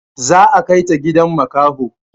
Za a kaita gidan makaho